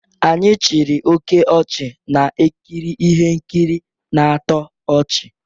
Anyị chịrị oke ọchị na-ekiri ihe nkiri na-atọ ọchị